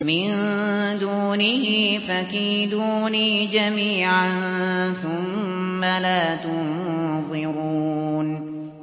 مِن دُونِهِ ۖ فَكِيدُونِي جَمِيعًا ثُمَّ لَا تُنظِرُونِ